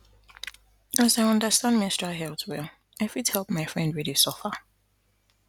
as i understand menstrual health well i fit help my friend wey dey suffer